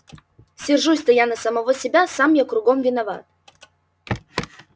сержусь-то я на самого себя сам я кругом виноват